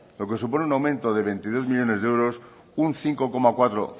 lo que supone un aumento de veintidós millónes de euros un cinco coma cuatro